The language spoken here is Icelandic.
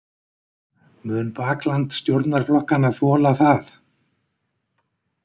Mun bakland stjórnarflokkanna þola það?